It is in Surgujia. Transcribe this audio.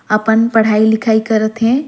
अपन पढ़ाई लिखई करत हे।